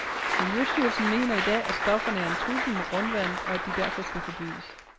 Miljøstyrelsen mener i dag, at stofferne er en trussel mod grundvandet, og at de derfor skal forbydes.